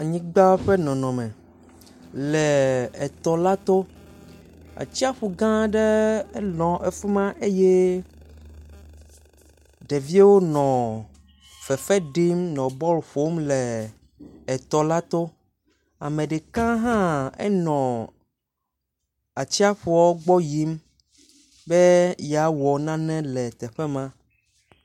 Anyigba ƒe nɔnɔme le tɔ la to. Atsiaƒu gã aɖe nɔ afi ma eye ɖeviwo nɔ fefe ɖim nɔ bɔl ƒom le etɔ la to. Ame ɖeka hã enɔ atsiaƒu gbɔ yim be yeawɔ nane le teƒe ma.